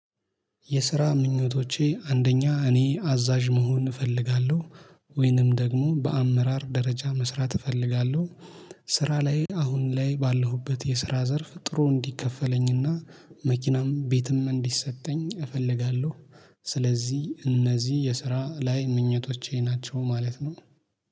የስራ ምኞቶቼ አንደኛ እኔ አዛዥ መሆን እፈልጋለሁ። ወይንም ደግሞ በአመራር ደረጃ መስራት እፈልጋለሁ። ስራ ላይ አሁን ላይ ባለሁበት የስራ ዘርፍ ጥሩ እንዲከፈለኝና መኪናም ቤትም እንዲሰጠኝ እፈልጋለሁ። ስለዚህ እነዚህ የስራ ላይ ምኞቶቼ ናቸው ማለት ነው